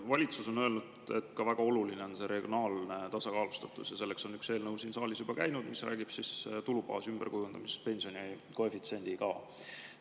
Valitsus on öelnud, et väga oluline on regionaalne tasakaalustatus, ja selleks on siin saalis juba käinud üks eelnõu, mis räägib tulubaasi ümberkujundamisest pensionikoefitsiendiga.